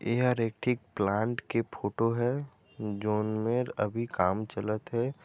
एहर एक ठीक प्लांट के फोटो हैं जोन मेर अभी काम चलत हे।